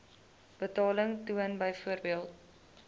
betaling toon byvoorbeeld